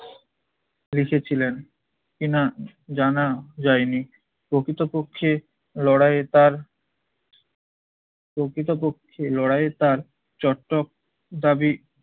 লিখেছিলেন কিনা জানা যায়নি। প্রকৃতপক্ষে লড়াইয়ে তার প্রকৃতপক্ষে লড়াইয়ে তার চট্টক দাবি